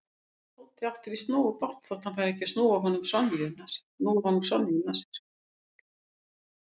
Tóti átti víst nógu bágt þótt hann færi ekki að núa honum Sonju um nasir.